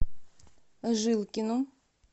жилкину